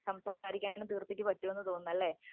സംസാരിക്കാൻ തീർത്ഥയ്ക്ക് പറ്റുമെന്ന്തോന്നുന്നല്ലേ